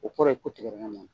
O kɔrɔ ye ko tigɛdɛgɛ man ɲi.